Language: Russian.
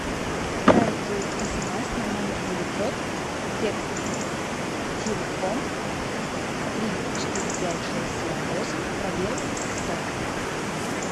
отправить смс на номер девятьсот текст телефон три четыре пять шесть семь восемь пробел сто